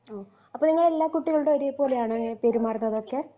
ആ അപ്പൊ നിങ്ങള് എല്ലാ കുട്ടികളോടും ഒരേപോലെയാണോ ഇങ്ങനെ പെരുമാറുന്നതൊക്കെ